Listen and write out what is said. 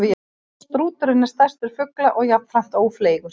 Strúturinn er stærstur fugla og jafnframt ófleygur.